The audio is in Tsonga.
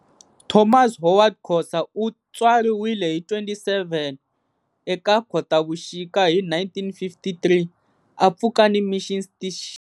Thomas Howard Khosa u tswariwile hi 27 eka Khotavuxika hi 1953 a Pfukani Misssion.